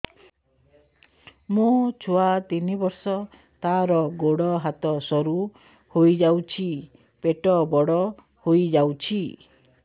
ମୋ ଛୁଆ ତିନି ବର୍ଷ ତାର ଗୋଡ ହାତ ସରୁ ହୋଇଯାଉଛି ପେଟ ବଡ ହୋଇ ଯାଉଛି